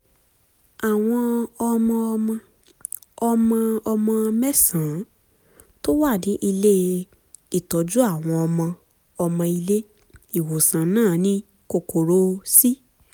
àwọn ọmọ-ọmọ ọmọ-ọmọ mẹ́sàn-án tó wà ní ilé-ìtọ́jú àwọn ọmọ-ọmọ ilé ìwòsàn náà ni kòkòrò c